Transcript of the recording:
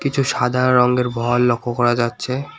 কিছু সাদা রঙের ভল লক্ষ করা যাচ্ছে